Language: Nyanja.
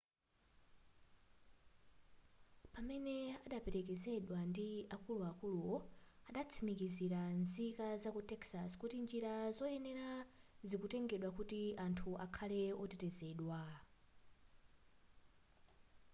pamene adaperekezedwa ndi akuluakuluwo adatsimikizira nzika zaku texas kuti njira zoyenera zikutengedwa kuti anthu akhale otetezedwa